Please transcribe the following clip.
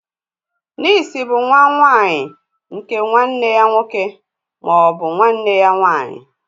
Nịịsi bụ nwà nwanyị nke nwanne ya nwoke ma ọ bụ nwanne ya nwanyị.